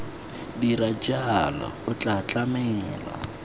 dira jalo o tla tlamela